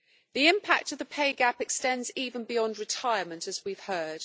The impact of the pay gap extends even beyond retirement, as we have heard.